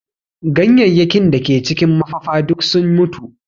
Ganyenyakin da ke cikin mafafa duk sun mutu